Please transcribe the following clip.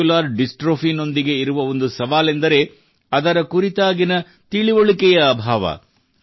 muscular dystrophy ಯೊಂದಿಗೆ ಇರುವ ಒಂದು ಸವಾಲೆಂದರೆ ಅದರ ಕುರಿತಾಗಿನ ತಿಳುವಳಿಕೆಯ ಅಭಾವ